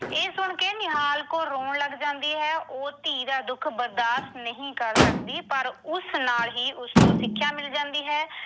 ਇਹ ਸੁਣ ਕੇ ਨਿਹਾਲ ਕੌਰ ਰੋਣ ਲੱਗ ਜਾਂਦੀ ਹੈ। ਉਹ ਧੀ ਦਾ ਦੁੱਖ ਬਰਦਾਸ਼ਤ ਨਹੀਂ ਕਰ ਸਕਦੀ ਪਰ ਉਸ ਨਾਲ ਹੀ ਉਸਨੂੰ ਸਿੱਖਿਆ ਮਿਲ ਜਾਂਦੀ ਹੈ।